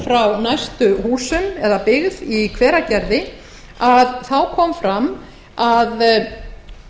frá næstu húsum eða byggð í hveragerði kom fram að